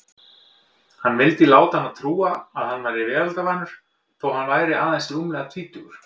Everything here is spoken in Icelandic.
Hann vildi láta hana trúa að hann væri veraldarvanur þótt hann væri aðeins rúmlega tvítugur.